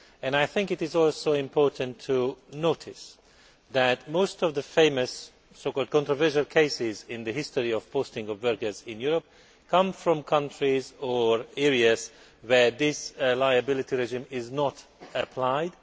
I think it is also important to note that most of the famous so called controversial cases in the history of the posting of workers in Europe come from countries or areas where this liability regime is not applied.